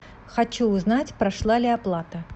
хочу узнать прошла ли оплата